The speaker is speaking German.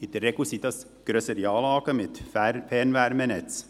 In der Regel sind das grössere Anlagen mit Fernwärmenetz.